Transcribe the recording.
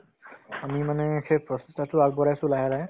আমি মানে সেই প্ৰচেষ্টাতো আগবঢ়াইছো লাহে লাহে